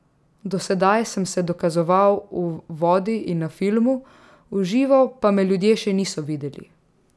Do sedaj sem se dokazoval v vodi in na filmu, v živo pa me ljudje še niso videli.